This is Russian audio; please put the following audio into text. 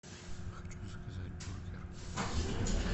хочу заказать бургер